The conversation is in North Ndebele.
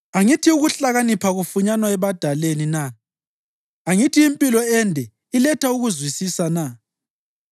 Angithi ukuhlakanipha kufunyanwa ebadaleni na? Angithi impilo ende iletha ukuzwisisa na?